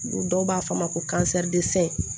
Dɔw b'a fɔ a ma ko